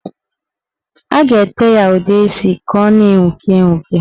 A ga-ete ya udeisi ka ọ na-enwuke enwuke.